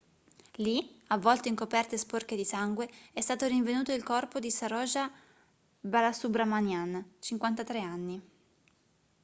lì avvolto in coperte sporche di sangue è stato rinvenuto il corpo di saroja balasubramanian 53 anni